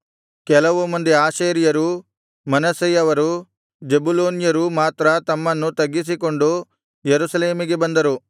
ಕೆಲವು ಮಂದಿ ಆಶೇರ್ಯರೂ ಮನಸ್ಸೆಯವರೂ ಜೆಬುಲೂನ್ಯರೂ ಮಾತ್ರ ತಮ್ಮನ್ನು ತಗ್ಗಿಸಿಕೊಂಡು ಯೆರೂಸಲೇಮಿಗೆ ಬಂದರು